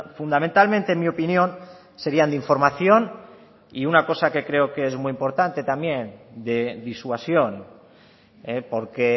fundamentalmente en mi opinión serian de información y una cosa que creo que es muy importante también de disuasión porque